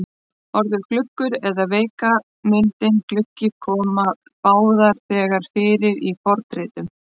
Orðið gluggur og veika myndin gluggi koma báðar þegar fyrir í fornritum.